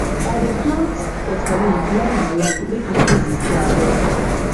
i dey plant waterleaf line by line make e easy to harvest